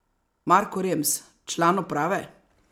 Marko Rems, član uprave?